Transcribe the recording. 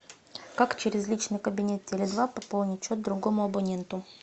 как через личный кабинет теле два пополнить счет другому абоненту